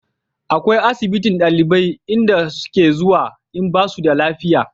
akwai asibitin ɗalibai inda su ke zuwa in basu da lafiya